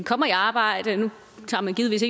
kommer i arbejde nu tager man givetvis